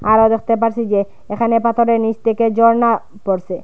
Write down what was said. আমরা দেখতে পারছি যে এখানে পাথরের নিচ থেকে ঝর্না পড়ছে।